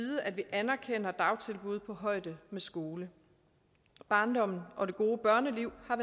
at vi anerkender dagtilbud på højde med skole barndommen og det gode børneliv har